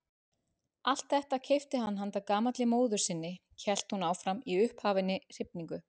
Allt þetta keypti hann handa gamalli móður sinni hélt hún áfram í upphafinni hrifningu.